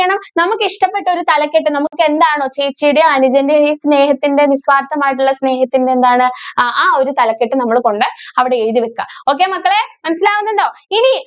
ഇഷ്ടപ്പെട്ട ഒരു തലക്കെട്ട്‌ നമുക്ക് എന്താണോ ചേച്ചിയുടെയും, അനുജന്റെയും ഈ സ്നേഹത്തിന്‍റെ നിസ്വാര്‍ത്ഥമായിട്ടുള്ള സ്നേഹത്തിന്‍റെ എന്താണ് ആ, ആ ഒരു തലക്കെട്ട്‌ നമ്മള് കൊണ്ട് അവിടെ എഴുതി വക്കുക. okay മക്കളേ, മനസിലാവുന്നുണ്ടോ? ഇനി